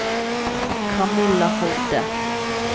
Camilla Hovde